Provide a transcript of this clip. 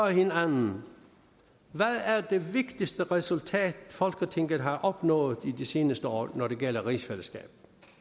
hinanden hvad er det vigtigste resultat folketinget har opnået det seneste år når det gælder rigsfællesskabet